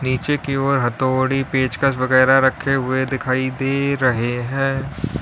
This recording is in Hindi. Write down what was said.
पीछे की ओर हथौड़ी पेचकस वगैरा रखे हुए दिखाई दे रहे हैं।